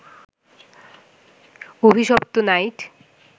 অভিশপ্ত নাইট